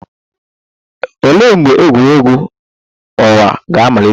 Olee mgbe egwuregwu ọnwa ga-amalite?